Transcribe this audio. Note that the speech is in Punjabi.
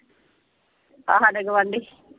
ਆਹ ਸਾਡਾ ਗੁਆਂਢੀ।